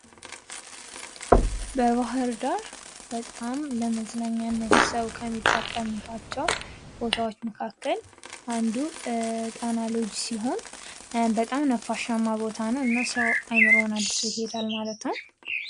በባህር ዳር ከተማ በጣም ለመዝናኛ ሰው ከሚጠቀምባቸው ቦታዎች መካከል አንዱ ጣና ሎጅ ሲሆን በጣም ነፋሻማ ቦታ ነው። እና ሰው አይምሮውን አድሶ ይሄዳል ማለት ነው።